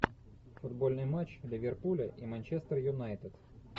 футбольный матч ливерпуля и манчестер юнайтед